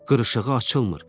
Qırışığı açılmır.